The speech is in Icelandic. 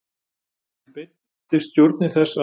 Því beiddist stjórnin þess, að